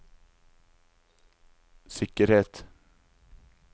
sikkerhet